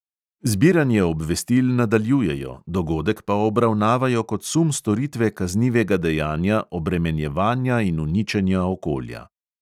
Zbiranje obvestil nadaljujejo, dogodek pa obravnavajo kot sum storitve kaznivega dejanja obremenjevanja in uničenja okolja.